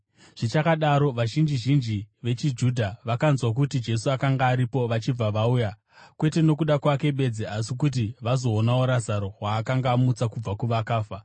Zvichakadaro, vazhinji zhinji vechiJudha vakanzwa kuti Jesu akanga aripo vachibva vauya, kwete nokuda kwake bedzi asi kuti vazoonawo Razaro, waakanga amutsa kubva kuvakafa.